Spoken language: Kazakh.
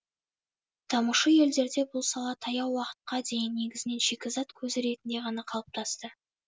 дамушы елдерде бұл сала таяу уақытқа дейін негізінен шикізат көзі ретінде ғана қалыптасты